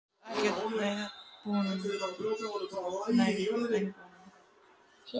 Ástin er verkefni fyrir þá sem ekkert hafa að gera.